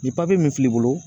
Ni papiye min filɛ i bolo